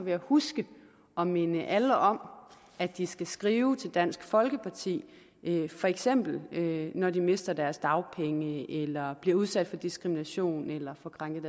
jeg huske at minde alle om at de skal skrive til dansk folkeparti for eksempel når de mister deres dagpenge eller bliver udsat for diskrimination eller